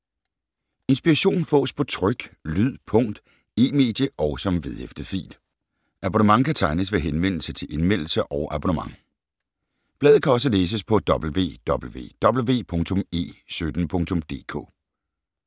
Inspiration fås på tryk, lyd, punkt, e-medie og som vedhæftet fil. Abonnement kan tegnes ved henvendelse til Indmeldelse og abonnement. Bladet kan også læses på www.e17.dk